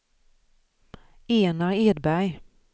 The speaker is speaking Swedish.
Enar Edberg